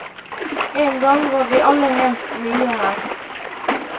En gang var vi alle helt nye her.